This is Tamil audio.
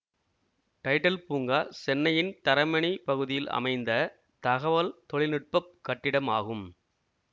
டைடல் பூங்கா சென்னையின் தரமணி பகுதியில் அமைந்த தகவல் தொழில்நுட்ப கட்டிடம் ஆகும்